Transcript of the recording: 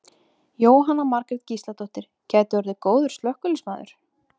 Jóhanna Margrét Gísladóttir: Gæti orðið góður slökkviliðsmaður?